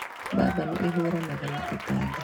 Mbamba nĩ ĩhũranaga na tũtambi.